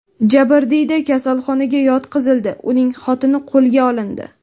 Jabrdiyda kasalxonaga yotqizildi, uning xotini qo‘lga olindi.